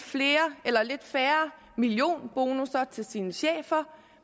færre millionbonusser til sine chefer